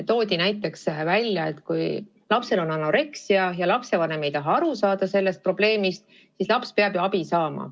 Toodi näiteks välja, et kui lapsel on anoreksia ja lapsevanem ei taha sellest probleemist aru saada, siis laps peab ju ikkagi abi saama.